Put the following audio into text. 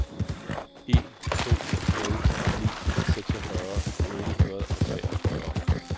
en to nul ni seksogfyrre otte hundrede og treogfyrre